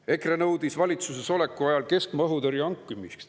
EKRE nõudis valitsuses oleku ajal keskmaa õhutõrje hankimist.